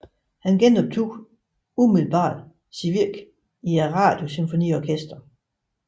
Han genoptog umiddelbart sit virke i Radiosymfoniorkestret